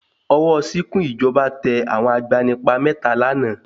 Ọwọ́ ṣìkún ìjọba tẹ àwọn agbanipa mẹ́ta lánàá.